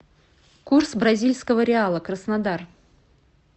курс бразильского реала краснодар